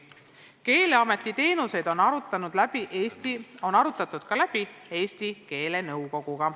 Keeleameti teenuseid on arutatud ka Eesti keelenõukoguga.